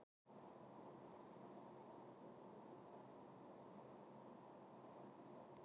Hvers vegna stundum við rannsóknir á Rómaveldi eða fornöldinni yfirleitt?